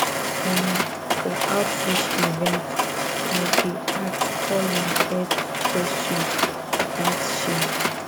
omoh for outreach events i dey ask all my health questions without shame